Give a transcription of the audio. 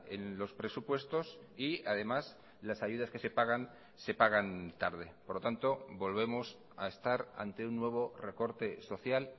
en los presupuestos y además las ayudas que se pagan se pagan tarde por lo tanto volvemos a estar ante un nuevo recorte social